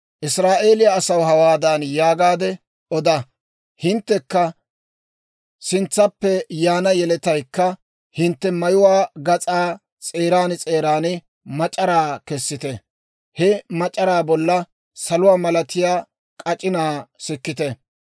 «Israa'eeliyaa asaw hawaadan yaagaade oda; ‹Hinttekka sintsaappe yaana yeletaykka hintte mayuwaa gas'aa s'eeran s'eeran mac'araa kessite; he mac'araa bolla saluwaa malatiyaa k'ac'inaa sikkite.